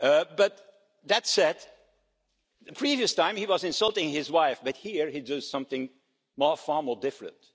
But that said, the previous time he was insulting his wife, but here he does something far more different.